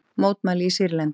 Mótmæli í Sýrlandi